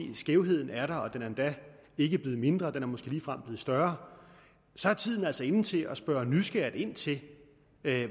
at skævheden er der og at den endda ikke er blevet mindre den er måske ligefrem blevet større så er tiden altså inde til at spørge nysgerrigt ind til